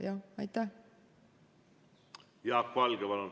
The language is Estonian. Jaak Valge, palun!